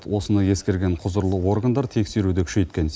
осыны ескерген құзырлы органдар тексеруді күшейткен